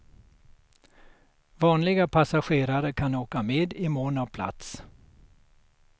Vanliga passagerare kan åka med i mån av plats.